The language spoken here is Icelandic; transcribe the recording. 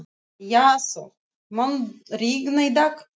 Jason, mun rigna í dag?